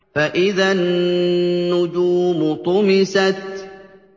فَإِذَا النُّجُومُ طُمِسَتْ